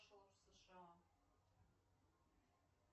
в сша